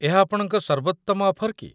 ଏହା ଆପଣଙ୍କ ସର୍ବୋତ୍ତମ ଅଫର୍ କି?